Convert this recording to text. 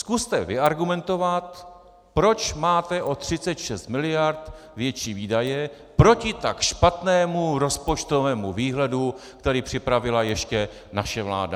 Zkuste vyargumentovat, proč máte o 36 mld. větší výdaje proti tak špatnému rozpočtovému výhledu, který připravila ještě naše vláda.